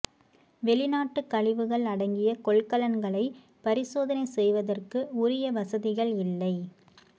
வெளிநாட்டு கழிவுகள் அடங்கிய கொள்கலன்களை பரிசோதணை செய்வதற்கு உரிய வசதிகள் இல்லை